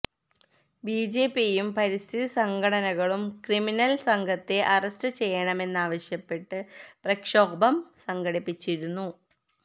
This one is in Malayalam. ബിജെപിയും പരിസ്ഥിതി സംഘടനകളും ക്രിമിനല് സംഘത്തെ അറസ്റ്റ് ചെയ്യണമെന്നാവശ്യപ്പെട്ട് പ്രക്ഷോഭം സംഘടിപ്പിച്ചിരുന്നു